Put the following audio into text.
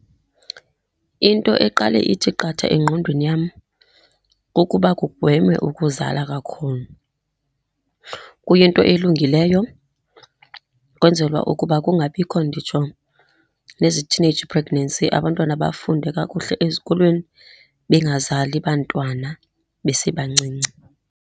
Into eqale ithi qatha engqondweni yam kukuba kugweme ukuzala kakhulu. Kuyinto elungileyo, kwenzelwa ukuba kungabikho nditsho nezi teenage pregnancy, abantwana bafunde kakuhle ezikolweni, bengazali bantwana besebancinci.